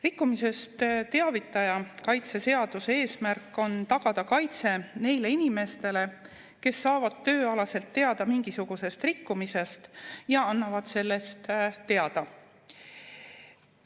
Rikkumisest teavitaja kaitse seaduse eesmärk on tagada kaitse neile inimestele, kes saavad tööalaselt teada mingisugusest rikkumisest ja annavad sellest teada.